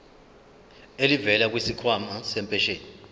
elivela kwisikhwama sempesheni